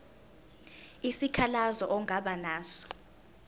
isikhalazo ongaba naso